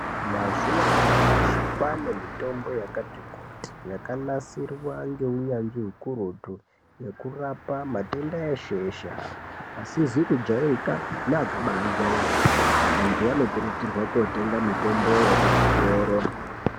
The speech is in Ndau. Mazuva anyamashi kwane mitombo yakati kuti yakanasirwa nge unyanzvi ukurutu yeku rapa matenda eshe eshe asizi ku jairikapi ne akabai jairika antu ano kurudzirwa ko tenga mitombo ye kuzvitoro.